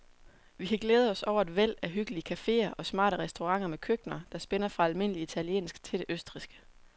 Vi kan glæde os over et væld af hyggelige caféer og smarte restauranter med køkkener, der spænder fra almindelig italiensk til det østrigske.